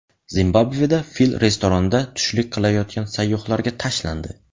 Zimbabveda fil restoranda tushlik qilayotgan sayyohlarga tashlandi.